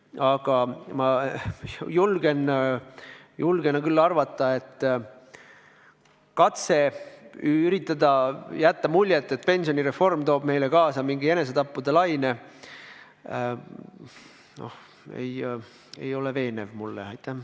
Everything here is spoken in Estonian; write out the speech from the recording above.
Aga ma julgen küll arvata, et katse üritada jätta muljet, et pensionireform toob Eestis kaasa mingi enesetappude laine, ei ole minu silmis veenev.